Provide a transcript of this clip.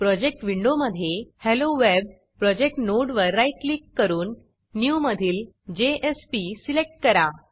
project विंडोमधे hello web project नोडवर right click करून Newन्यू मधील जेएसपी सिलेक्ट करा